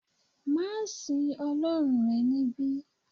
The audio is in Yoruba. ma sìn ọlọrun rẹ nibi